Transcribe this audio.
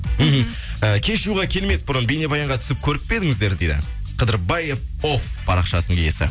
мхм і кешьюға келмес бұрын бейнебаянға түсіп көріп пе едіңіздер дейді қыдырбаев оф парақшасының иесі